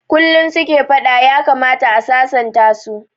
Kullum suke fada, ya kamata a sasanta su